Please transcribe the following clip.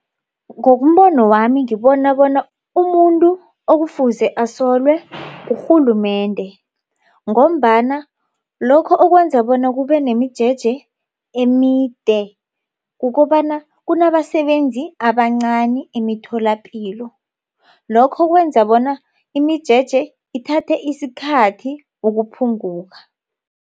Ngombono wami ngibona bona umuntu okufuze asolwe ngurhulumende. Ngombana lokho okwenza bona kube nemijeje emide kukobana kunabasebenzi abancani emitholapilo. Lokho kwenza bona imijeje ithathe isikhathi ukuphunguka.